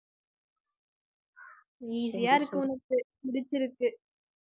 easy ஆ இருக்கு உனக்கு புடிச்சிருக்கு